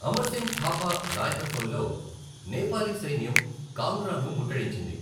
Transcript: అమర్ సింగ్ థాపా నాయకత్వంలో నేపాలీ సైన్యం కాంగ్రాను ముట్టడించింది.